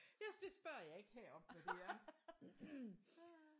Ja det spørger jeg ikke her om hvad det er